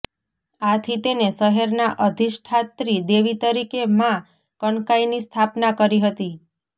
આથી તેને શહેરના અધિષ્ઠાત્રી દેવી તરીકે માં કનકાઈની સ્થાપના કરી હતી